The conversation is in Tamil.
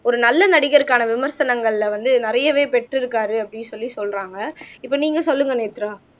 ஒரு நல்ல நடிகருக்கான விமர்சனங்கள்ல வந்து நிறையவே பெற்றிருக்காரு அப்படின்னு சொல்லி சொல்றாங்க இப்ப நீங்க சொல்லுங்க நேத்ரா